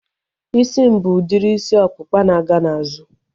Isi m bụ udiri isi ọkpụkpa na-aga n'azụ